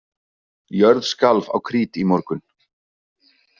Jörð skalf á Krít í morgun